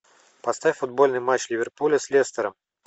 поставь футбольный матч ливерпуля с лестером